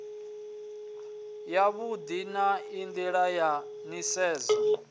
yavhui na nila ya nisedzo